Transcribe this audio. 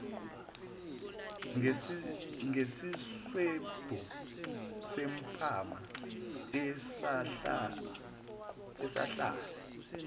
ngesiswebhu sempama esahlala